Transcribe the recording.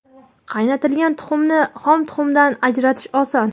Qaynatilgan tuxumni xom tuxumdan ajratish oson.